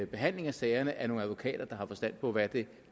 behandling af sagerne af nogle advokater der har forstand på hvad det